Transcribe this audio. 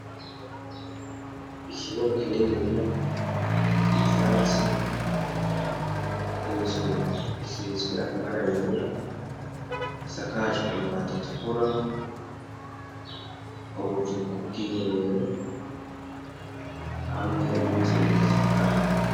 Ikibuga kininiya ivyatsi inzu isizwe amabara yera isakajwe amabatatukura ubutuku bw'ihe rero hamwe n'inzu idasakaye..